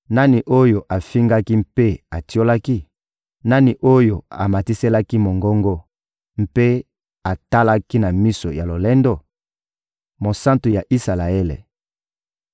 Nani oyo ofingaki mpe otiolaki? Nani oyo omatiselaki mongongo mpe otalaki na miso ya lolendo? Mosantu ya Isalaele!